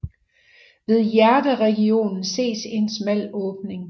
Ved hjerteregionen ses en smal åbning